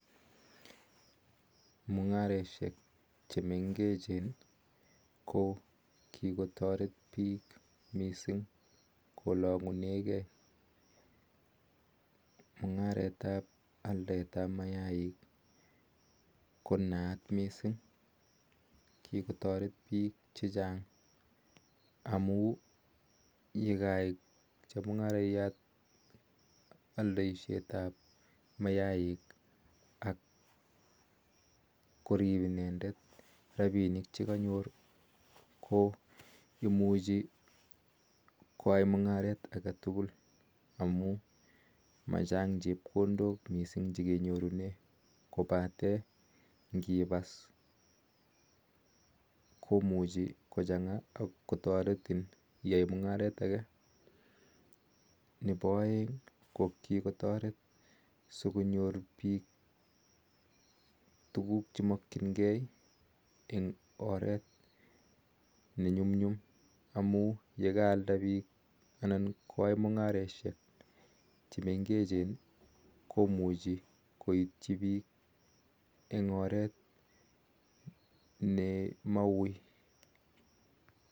Mungaresheek chemengecheen kokikotareet piik missing eng ngaleek ap kalangseet ap kee amun kwaii chemungarayat alndaiseet am mayayat komachang chepkondook kopatee ngipas kotaritin missssing ak ngonyor piik tuuguuk chemakchin keeee ak komuchii koitchii piik eng oret nemawuii